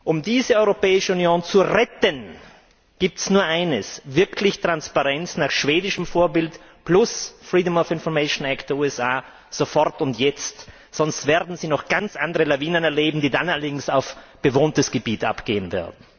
Um diese Europäische Union zu retten, gibt es nur eines wirkliche Transparenz nach schwedischem Vorbild plus Freedom of Information Act der USA sofort und jetzt. Sonst werden Sie noch ganz andere Lawinen erleben, die dann allerdings auf bewohntes Gebiet abgehen werden.